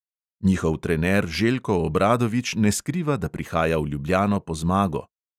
Njihov trener željko obradovič ne skriva, da prihaja v ljubljano po zmago.